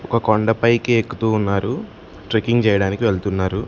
ఓ కొండపైకి ఎక్కుతూ ఉన్నారు ట్రెక్కింగ్ చేయడానికి వెళ్తున్నారు.